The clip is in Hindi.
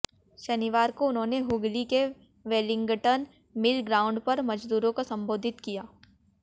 शनिवार को उन्होंने हुगली के वेलिंगटन मिल ग्राउंड पर मजदूरों को संबोधित किया